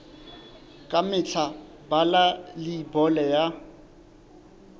ka mehla bala leibole ya